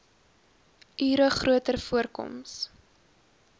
ure groter voorkoms